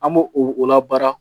An b'o o la baara